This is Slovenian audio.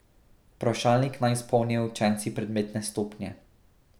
Vprašalnik naj izpolnijo učenci predmetne stopnje.